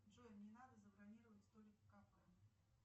джой мне надо забронировать столик в кафе